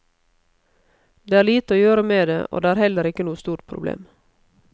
Det er lite å gjøre med det, og det er heller ikke noe stort problem.